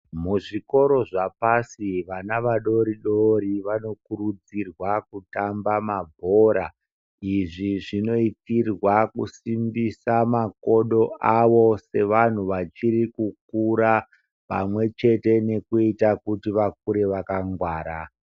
Muzvikora zvepashi vana vadodori vanofanirwa kutamba mabhora izvizvinoitirwa kusimbisa makodo avo sevantu vachiri kukura pamwechete nekuti vakure vakangwara.